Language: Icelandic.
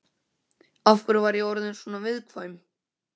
Af hverju var ég orðin svona viðkvæm?